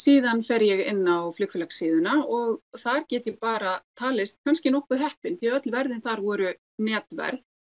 síðan fer ég inn á flugélagssíðuna og þar get ég bara talist kannski nokkuð heppin því öll verðin þar voru netverð